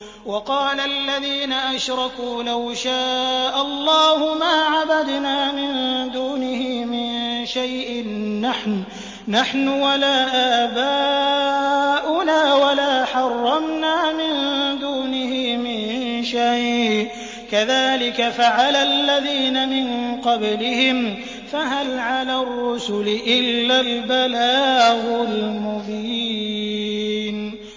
وَقَالَ الَّذِينَ أَشْرَكُوا لَوْ شَاءَ اللَّهُ مَا عَبَدْنَا مِن دُونِهِ مِن شَيْءٍ نَّحْنُ وَلَا آبَاؤُنَا وَلَا حَرَّمْنَا مِن دُونِهِ مِن شَيْءٍ ۚ كَذَٰلِكَ فَعَلَ الَّذِينَ مِن قَبْلِهِمْ ۚ فَهَلْ عَلَى الرُّسُلِ إِلَّا الْبَلَاغُ الْمُبِينُ